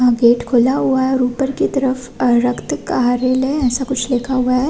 Gate खुला हुआ है और ऊपर की तरफ अ रक्त कार्यालय ऐसा कुछ लिखा हुआ है।